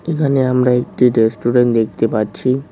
এখানে আমরা একটি রেস্টুরেন্ট দেখতে পাচ্ছি।